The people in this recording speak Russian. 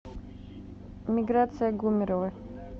миграция гумерова